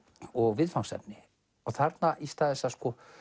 og viðfangsefni og þarna í stað þess að